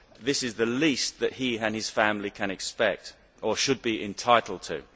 This is the least that he and his family can expect or should be entitled to.